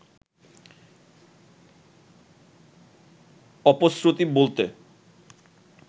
অপশ্রুতি বলতে